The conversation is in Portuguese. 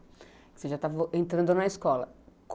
Você já estava entrando na escola.